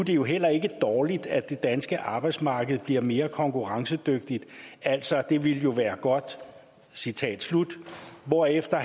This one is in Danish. det jo heller ikke dårligt at det danske arbejdsmarked bliver mere konkurrencedygtigt altså det ville jo være godt citat slut herefter